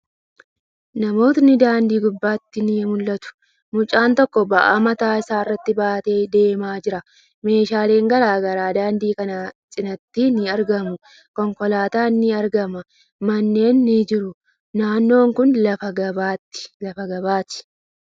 Namootni daandii gubbatti ni mul'atu. Mucaan tokko ba'aa mataa isaa irratti baatee deemaa jira. Meeshaalen garagaraa daandii kana cinaatti ni argamu. Konkolaatan ni argama. Manneen ni jiru. Naannon kuni lafa gabaati.